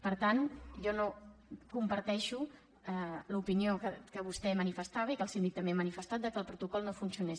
per tant jo no comparteixo l’opinió que vostè manifestava i que el síndic també ha manifestat que el protocol no funcionés